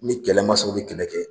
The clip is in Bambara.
Ni kɛlɛmasaw bɛ kɛlɛ kɛ